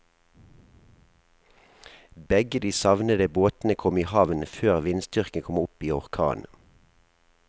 Begge de savnede båtene kom i havn før vindstyrken kom opp i orkan.